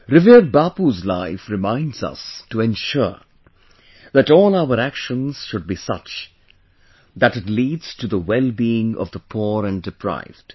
Revered Bapu's life reminds us to ensure that all our actions should be such that it leads to the well being of the poor and deprived